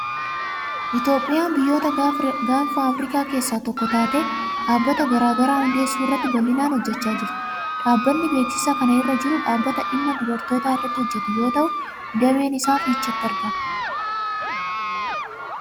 Itoophiyaan biyyoota gaanfa Afrikaa keessaa tokko taatee, dhaabbata garaa garaa hundeessuu irratti bal'inaan hojjechaa jirti. Dhaabbatni beeksisa kana irra jiru dhaabbata dhimma dubartootaa irratti hojjetuu yeroo ta'u, dameen isaa Fiicheetti argama.